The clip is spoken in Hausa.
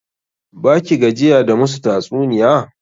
Ba ki gajiya da musu tatsuniya?